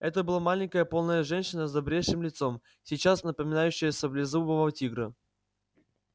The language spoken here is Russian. это была маленькая полная женщина с добрейшим лицом сейчас напоминающая саблезубого тигра